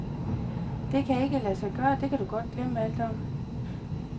Det kan ikke lade sig gøre, det kan du godt glemme alt om.